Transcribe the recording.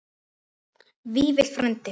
Vífill frændi.